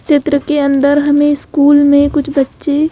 चित्र के अंदर हमें स्कूल में कुछ बच्चे --